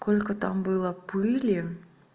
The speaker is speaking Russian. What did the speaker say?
сколько там было пыли